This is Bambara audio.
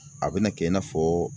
A bɛna kɛ i n'a fɔ